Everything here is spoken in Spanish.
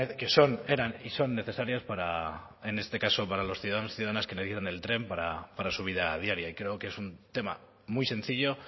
que eran y son necesarias para en este caso para los ciudadanos y ciudadanas que necesitan el tren para su vida diaria y creo que es un tema muy sencillo